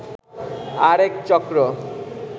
আরেক চক্র